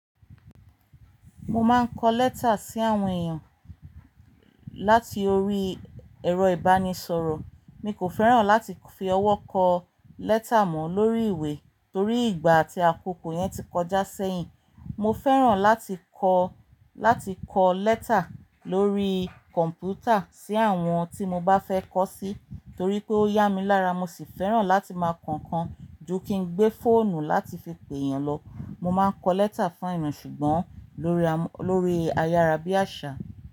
Mo máa ń kọ lẹ́tà sí àwọn èèyàn láti orí ẹ̀rọ ìbánisọ̀rọ̀. Mi kò fẹ́ràn láti fi ọwọ́ kọ lẹ́tà mọ́ lórí ìwé torí ìgbà àti àkókò yẹn ti kọjá sẹ́yìn. Mo fẹ́ràn láti kọ, láti kọ lẹ́tà lórí kọ̀ǹpútà sí àwọn tí mo bá fẹ́ kọ sí torí pé ó yá mi lára. Mo sì fẹ́ràn láti máa kọ̀kan ju kí n gbé fóònù láti fi pè èèyàn lọ. Mo máa ń kọ lẹ́tà fún èèyàn ṣùgbọ́n lórí, lórí ayára bí àṣá.